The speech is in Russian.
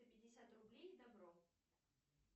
пятьдесят рублей добро